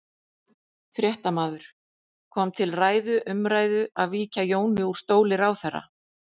Fréttamaður: Kom til ræðu, umræðu að víkja Jóni úr stóli ráðherra?